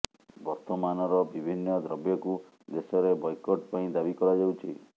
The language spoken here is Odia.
ବର୍ତ୍ତମାନର ବିଭିନ୍ନ ଦ୍ରବ୍ୟକୁ ଦେଶରେ ବୟକଟ ପାଇଁ ଦାବି କରାଯାଉଛି